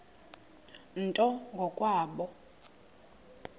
nto ngo kwabo